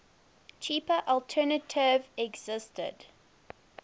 cheaper alternative existed